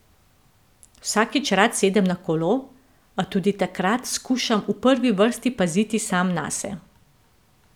Vsakič rad sedem na kolo, a tudi takrat skušam v prvi vrsti paziti sam nase.